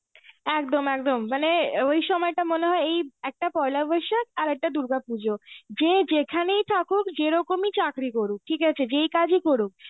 একদম একদম. মানে ওই সময়টা মনে হয় এই একটা পয়লা বৈশাখ আর একটা দুর্গাপুজো. যে যেখানে থাকুক, যেরকমই চাকরি করুক, ঠিকআছে যেই কাজই করুক,